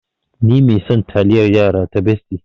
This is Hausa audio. Ni mai son taliayar yara ta Bestie.